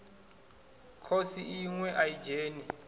khosi iṋwe a i dzheni